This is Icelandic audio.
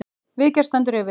Viðgerð stendur yfir.